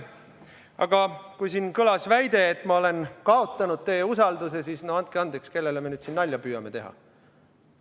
Aga kui siin kõlas väide, et ma olen kaotanud teie usalduse, siis no andke andeks, kellele me nüüd siin nalja püüame teha?